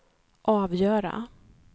avgöra